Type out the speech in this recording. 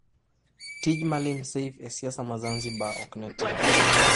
Tij Malim Seif e siasa ma Zanzibar ok ne tin.